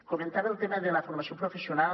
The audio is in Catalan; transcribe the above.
comentava el tema de la formació professional